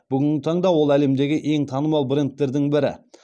бүгінгі таңда ол әлемдегі ең танымал брендтердің бірі